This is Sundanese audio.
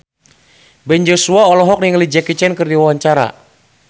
Ben Joshua olohok ningali Jackie Chan keur diwawancara